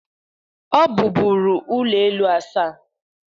Ọ bụbụru ụlọ elu asaa.